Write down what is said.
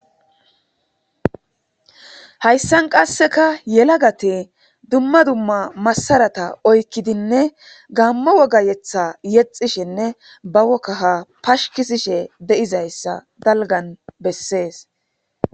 Hayisan qasika yalagati duma duma masarata oyikidine gamo wogga yetha yexishene ba wogga pasikishesh dizaha hayisani beses